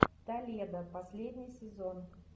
толедо последний сезон